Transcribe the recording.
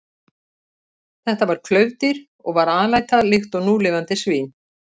Þetta var klaufdýr og var alæta líkt og núlifandi svín.